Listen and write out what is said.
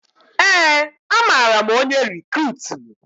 Ee, amara m onye rikruutu